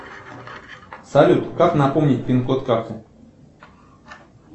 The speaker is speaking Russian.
салют как напомнить пин код карты